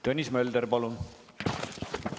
Tõnis Mölder, palun!